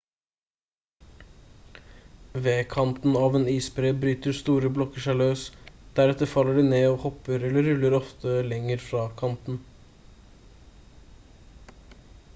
ved kanten av en isbre bryter store blokker seg løs deretter faller de ned og hopper eller ruller ofte lenger fra kanten